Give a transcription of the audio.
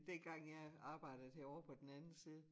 Dengang jeg arbejde herovre på den anden side